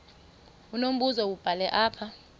unombuzo wubhale apha